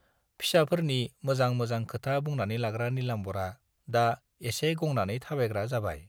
फिसाफोरनि मोजां मोजां खोथा बुंनानै लाग्रा नीलाम्बरआ दा एसे गंनानै थाबायग्रा जाबाय।